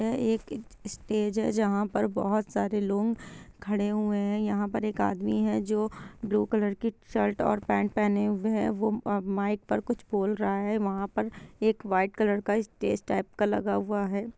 ये एक स्टेज जहां पर बहुत सारे लोग खड़े हुए है यहां पर एक आदमी है जो ब्लू कलर की शर्ट और पेंट पहने हुये है वो अब माइक पर कुछ बोल रहा है वहा पर एक वाइट कलर का स्टेज टाइप का लगा हुआ है।